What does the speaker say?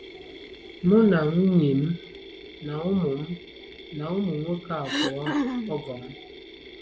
Mụ na nwunye m na ụmụ m na ụmụ nwoke abụọ - ọgọ m